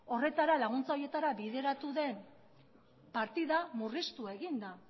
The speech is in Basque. laguntza horietara bideratu den partida